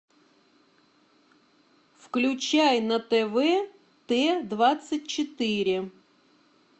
включай на тв т двадцать четыре